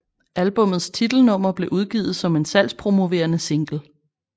Albummets titelnummer blev udgivet som en salgspromoverende single